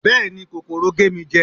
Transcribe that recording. béèni kòkòrò gé mi jẹ